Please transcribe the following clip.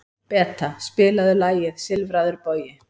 Beta, spilaðu lagið „Silfraður bogi“.